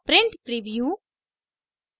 print preview